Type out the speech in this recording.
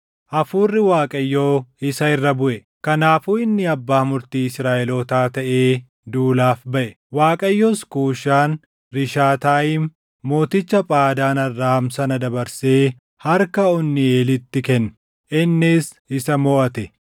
Hafuurri Waaqayyoo isa irra buʼe; kanaafuu inni abbaa murtii Israaʼelootaa taʼee duulaaf baʼe. Waaqayyos Kuushan-Rishaataayim mooticha Phaadaan Arraam sana dabarsee harka Onniiʼelitti kenne; innis isa moʼate.